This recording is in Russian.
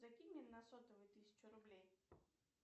закинь мне на сотовый тысячу рублей